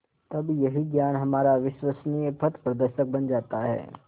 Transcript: तब यही ज्ञान हमारा विश्वसनीय पथप्रदर्शक बन जाता है